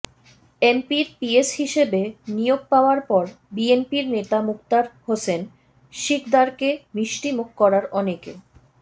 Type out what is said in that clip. এমপির পিএস হিসেবে নিয়োগ পাওয়ার পর বিএনপির নেতা মুক্তার হোসেন শিকদারকে মিষ্টিমুখ করার অনেকে